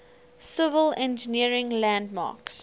civil engineering landmarks